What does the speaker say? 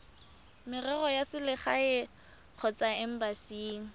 merero ya selegae kgotsa embasing